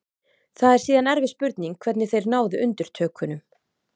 Það er síðan erfið spurning hvernig þeir náðu undirtökunum.